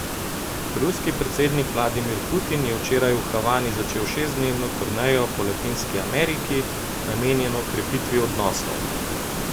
Ruski predsednik Vladimir Putin je včeraj v Havani začel šestdnevno turnejo po Latinski Ameriki, namenjeno krepitvi odnosov.